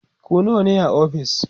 ku nawa ne a ofis?